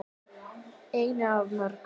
Einu af mörgum.